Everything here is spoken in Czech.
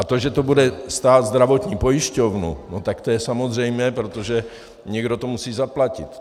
A to, že to bude stát zdravotní pojišťovnu, no tak to je samozřejmé, protože někdo to musí zaplatit.